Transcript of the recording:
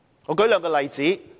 我舉兩個例子。